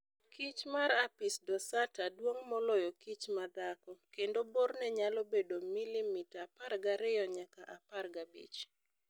kich mar apis dorsata duong' moloyokich ma madhako, kendo borne nyalo bedo milimeta 12 nyaka 15.